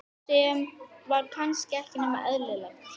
Sem var kannski ekki nema eðlilegt.